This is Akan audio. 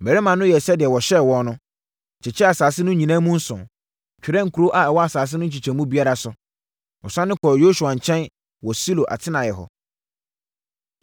Mmarima no yɛɛ sɛdeɛ wɔhyɛɛ wɔn no, kyekyɛɛ asase no nyinaa mu nson, twerɛɛ nkuro a ɛwɔ asase no nkyekyɛmu biara so. Wɔsane kɔɔ Yosua nkyɛn wɔ Silo atenaeɛ hɔ.